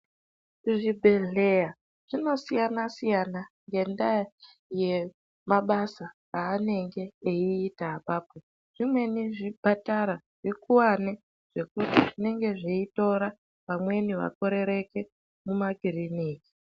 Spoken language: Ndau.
Zvibhedhleya zvinosiyana siyana ngendaa yemabasa aanenge eiita apapo, zvimweni zvipatara zvikuwane zvekuti zvinenge zveitora vamweni vakorereke muma kiriniki.